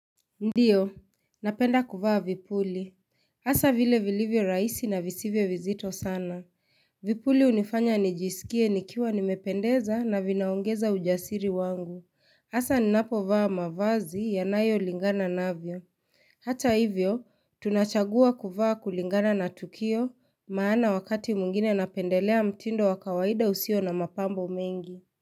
Ndiyo, napenda kuvaa vipuli. hAsa vile vilivyo raisi na visivyo vizito sana. Vipuli unifanya nijisikie nikiwa nimependeza na vinaongeza ujasiri wangu. Hasa ninapo vaa mavazi ya nayo lingana navyo. Hata hivyo, tunachagua kuvaa kulingana na tukio maana wakati mwingine napendelea mtindo wa kawaida usio na mapambo mengi.